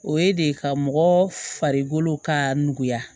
O ye de ka mɔgɔ farikolo ka nɔgɔya